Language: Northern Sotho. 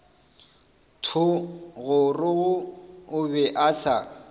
thogorogo o be a sa